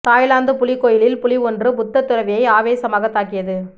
Thailand புலி கோயிலில் புலி ஒன்று புத்த துறவியை ஆவேசமாக தாக்கியது